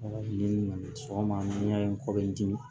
sɔgɔma n'a ye n kɔ bɛ n dimi